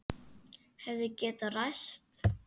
Hefði getað ræst.